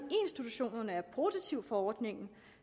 institutionerne er positive over for ordningen